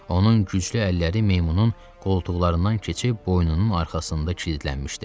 Onun güclü əlləri meymunun qoltuqlarından keçib boynunun arxasında kilitlənmişdi.